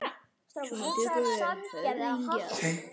Svona töluðum við oft saman.